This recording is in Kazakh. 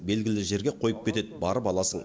белгілі жерге қойып кетеді барып аласың